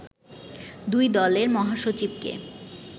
দুই দলের মহাসচিবকে